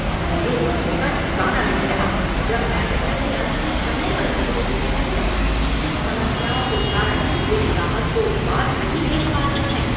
मेरे गुस्से का ठिकाना नहीं रहा जब मैनेजर ने अंतिम समय पर मुझे सूचित किया कि कुछ समस्याओं के कारण वे ग्राहक को उत्पाद नहीं भेज पा रहे हैं।